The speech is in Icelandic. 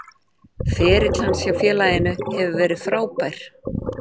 Ferill hans hjá félaginu hefur verið frábær.